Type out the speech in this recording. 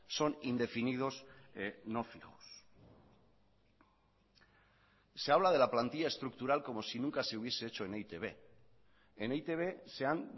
son indefinidos no fijos se habla de la plantilla estructural como si nunca se hubiese hecho en e i te be en e i te be se han